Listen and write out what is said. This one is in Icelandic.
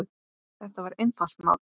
Þetta var einfalt mál.